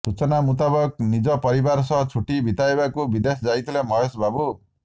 ସୂଚନା ମୂତାବକ ନିଜ ପରିବାର ସହ ଛୁଟି ବିତାଇବାକୁ ବିଦେଶ ଯାଇଥିଲେ ମହେଶ ବାବୁ